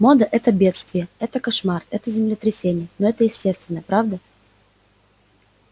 мода это бедствие это кошмар это землетрясение но это естественно правда